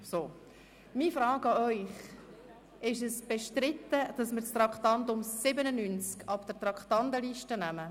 Meine Frage an Sie: Ist es bestritten, dass wir das Traktandum 97 von der Traktandenliste nehmen?